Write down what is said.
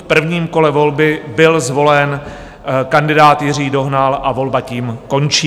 V prvním kole volby byl zvolen kandidát Jiří Dohnal a volba tím končí.